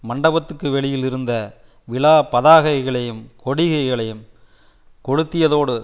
மண்டபத்துக்கு வெளியில் இருந்த விழா பதாகைகளையும்கொடிகளையும் கொளுத்தியதோடு